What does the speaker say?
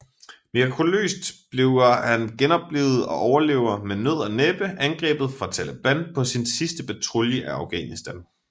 Mirakuløst bliver han genoplivet og overlever med nød og næppe angrebet fra Taleban på sin sidste patrulje i Afghanistan